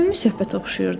Səmimi söhbətə oxşayırdı.